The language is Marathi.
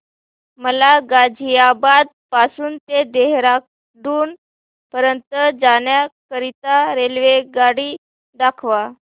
मला गाझियाबाद पासून ते देहराडून पर्यंत जाण्या करीता रेल्वेगाडी दाखवा